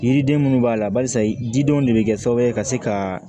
Yiriden minnu b'a la barisa didenw de bɛ kɛ sababu ye ka se ka